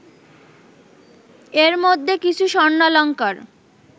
এর মধ্যে কিছু স্বর্ণালঙ্কার